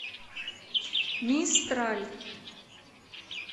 мистраль